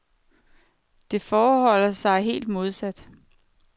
Det forholder sig helt modsat.